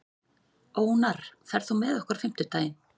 Ónarr, ferð þú með okkur á fimmtudaginn?